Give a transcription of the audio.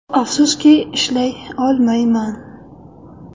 Afsuski ishlay olmayman.